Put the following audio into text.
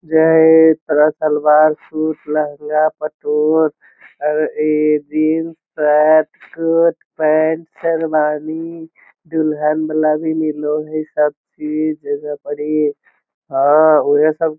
जे एक तरह सलवार सुट लेहंगा पटोला और ए jean shirt coat pant sherwani दुल्हन वाला भी मिलो है सब चीज येजा परि हाँ उहे सब --